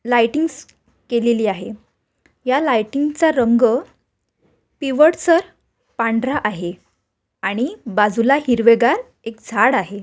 लायटिंगस केलेली आहे. ह्या लायटिंगचा रंग पिवटसर पांढरा आहे. आणि बाजूला हिरवेगार एक झाड आहे.